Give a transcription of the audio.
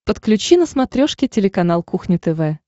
подключи на смотрешке телеканал кухня тв